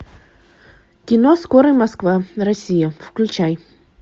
кино скорый москва россия включай